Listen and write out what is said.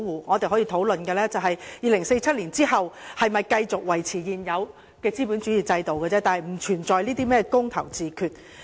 我們可以討論的只是在2047年後是否繼續維持現有資本主義制度的問題，但並不存在甚麼"公投自決"。